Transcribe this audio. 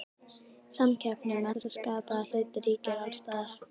Samkeppni um alla skapaða hluti ríkir alls staðar.